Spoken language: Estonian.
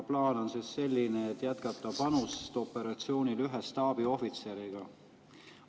Plaan on selline, et jätkata panust operatsiooni ühe staabiohvitseriga.